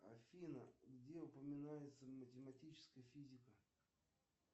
афина где упоминается математическая физика